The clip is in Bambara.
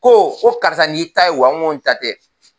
Ko ko karisa n'i y'i ta ye wa? N ko n ta tɛ.